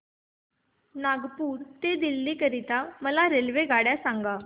नागपुर ते दिल्ली करीता मला रेल्वेगाड्या सांगा